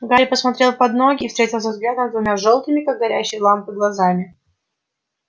гарри посмотрел под ноги и встретился взглядом с двумя жёлтыми как горящие лампы глазами